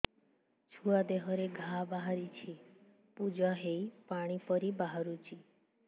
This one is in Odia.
ଛୁଆ ଦେହରେ ଘା ବାହାରିଛି ପୁଜ ହେଇ ପାଣି ପରି ବାହାରୁଚି